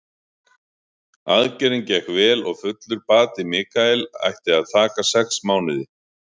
Aðgerðin gekk vel og fullur bati Michael ætti að taka sex mánuði.